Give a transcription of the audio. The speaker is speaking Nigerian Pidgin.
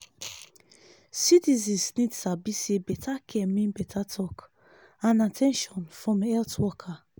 citizens need sabi say better care mean better talk and at ten tion from health worker.